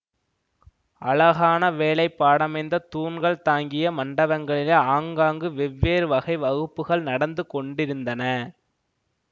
அழகான வேலைப்பாடமைந்த தூண்கள் தாங்கிய மண்டபங்களிலே ஆங்காங்கு வெவ்வேறு வகை வகுப்புக்கள் நடந்து கொண்டிருந்தன